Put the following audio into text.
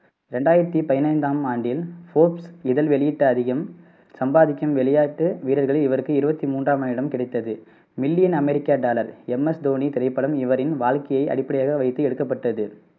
ரெண்டாயிரத்தி பதினைந்தாம் ஆண்டில் போர்ப்ஸ் இதழ் வெளியிட்ட அதிகம் சம்பாதிக்கும் விளையாட்டு வீரர்களில் இவருக்கு இருவத்தி மூன்றாம் இடம் கிடைத்தது மில்லியன் அமெரிக்க டாலர் எம் எஸ் தோனி திரைப்படம் இவரின் வாழ்க்கையை அடிப்படையாக வைத்து எடுக்கப்பட்டது.